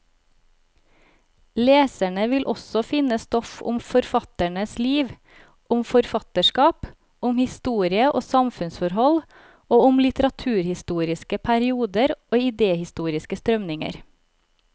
Leserne vil også finne stoff om forfatternes liv, om forfatterskapet, om historie og samfunnsforhold, og om litteraturhistoriske perioder og idehistoriske strømninger.